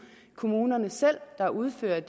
kommunerne selv der udfører